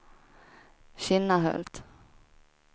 Kinnahult